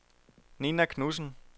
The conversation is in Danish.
Ninna Knudsen